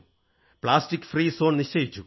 plastic free zone നിശ്ചയിച്ചു